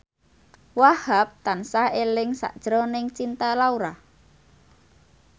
Wahhab tansah eling sakjroning Cinta Laura